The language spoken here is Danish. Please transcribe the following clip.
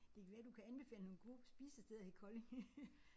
Det kan være du kan anbefale nogle gode spisesteder i Kolding